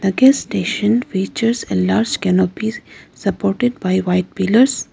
The gas station features a large canopies supported by white pillars.